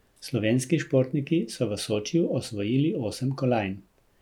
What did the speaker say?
Slovenski športniki so v Sočiju osvojili osem kolajn.